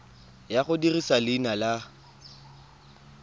ya go dirisa leina la